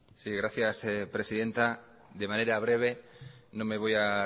sí gracias presidenta de manera breve no me voy a